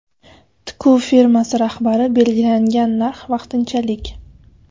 Tikuv firmasi rahbari belgilangan narx vaqtinchalik.